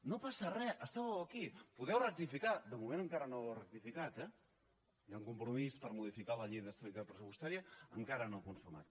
no passa re estàveu aquí podeu rectificar de moment encara no heu rectificat eh hi ha un compromís per modificar la llei d’estabilitat pressupostària encara no consumat